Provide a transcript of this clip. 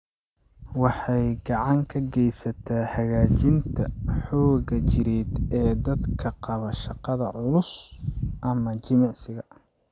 Waxay gacan ka geysataa hagaajinta xoogga jireed ee dadka qaba shaqada culus ama jimicsiga.